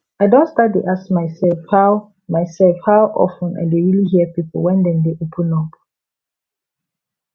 i don start dey ask myself how myself how of ten i dey really hear people when dem dey open up